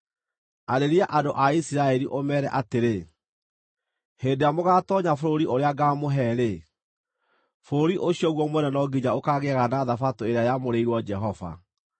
“Arĩria andũ a Isiraeli, ũmeere atĩrĩ, ‘Hĩndĩ ĩrĩa mũgaatoonya bũrũri ũrĩa ngaamũhe-rĩ, bũrũri ũcio guo mwene no nginya ũkaagĩaga na Thabatũ ĩrĩa yamũrĩirwo Jehova.